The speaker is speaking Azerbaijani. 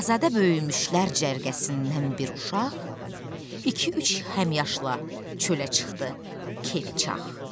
Azadə böyüyümüşlər cərgəsindən bir uşaq, iki-üç həmyaşla çölə çıxdı keyfi çax.